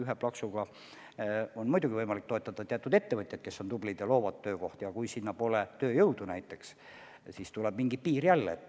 Ühe plaksuga on muidugi võimalik toetada teatud ettevõtjaid, kes on tublid ja loovad töökohti, aga kui sinna pole tööjõudu, siis tuleb mingi piir jälle ette.